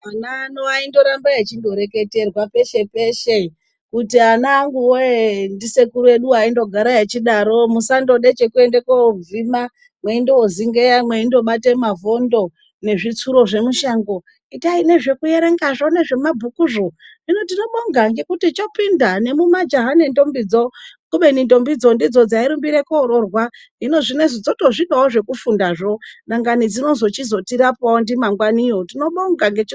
Ana edu aindoramba eireketrwa peshe peshe kuti ananguwe ndisekuru edu aindogare echidaro musandode chekuende kovhima mwendozingeya mweindobate mavhondo nezvitsuro zvemushango itai nezvekuerengazvo nezvemabhukuzvo hino tinobonga ngekuti chopinda nemumajaha nendombi dzo kubeni ndombi dzo ndidzo dzairumbire koroorwa hino zvinoizvi dzotozvidawo zvekufunda zvo dangani dzinozototizotichirapawo ndimangwani yo tinobonga.